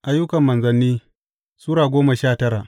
Ayyukan Manzanni Sura goma sha tara